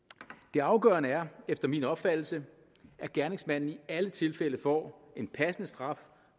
det afgørende er efter min opfattelse at gerningsmanden i alle tilfælde får en passende straf